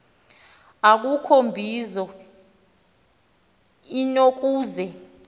akukho mbizo inokuze